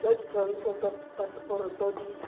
isa ditshwantsho tsa phaseporoto di